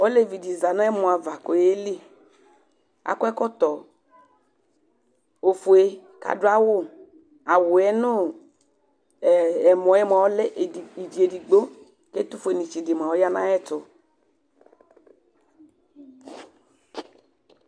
Olevi di za nu ɛmɔ ava k'ɔyeli, akɔ ɛkɔtɔ ofue k'adu awù, awùɛ nu ɛmɔ mua ɔlɛ ivi edigbo k'ɛtufuenitsi di mua ɔya n'ayɛtu